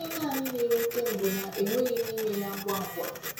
Ihe naanị na-ewute m bụ na enweghị m ime ya ngwa ngwa.